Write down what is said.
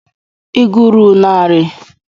Ị gụrụ narị?